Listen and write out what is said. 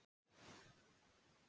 Og mömmu líka.